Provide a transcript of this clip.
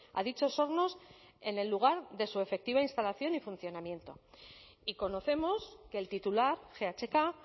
a dichos hornos en el lugar de su efectiva instalación y funcionamiento y conocemos que el titular ghk